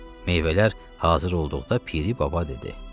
Meyvələr hazır olduqda Piri baba dedi: